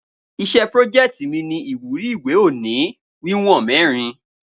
Iṣẹ́ prójeẹ̀tì mi ni ìwúrí ìwé òní wíwòn mẹrin